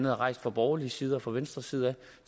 har rejst fra borgerlig side og fra venstres side